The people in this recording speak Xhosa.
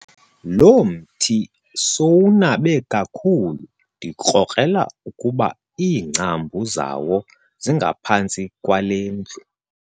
Lo mthi sowunabe kakhulu ndikrokrela ukuba iingcambu zawo zingaphantsi kwale ndlu.